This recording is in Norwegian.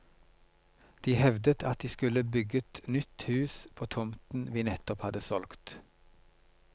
De hevdet at de skulle bygget nytt hus på tomten vi nettopp hadde solgt.